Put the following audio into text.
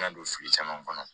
Na don fili caman kɔnɔ